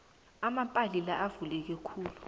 amapali laya avuleke khulu